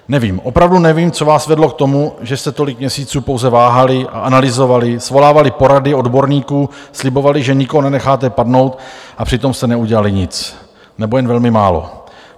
Nevím, opravdu nevím, co vás vedlo k tomu, že jste tolik měsíců pouze váhali a analyzovali, svolávali porady odborníků, slibovali, že nikoho nenecháte padnout, a přitom jste neudělali nic nebo jen velmi málo.